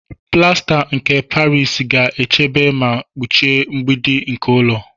Plasta nke Paris ga-echebe ma kpuchie mgbidi nke ụlọ.